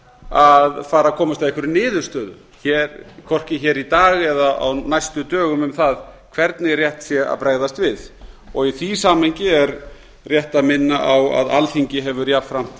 að fara að komast að einhverri niðurstöðu hvorki hér í dag eða á næstu dögum um það hvernig rétt sé að bregðast við í því samhengi er rétt að minna á að alþingi hefur jafnframt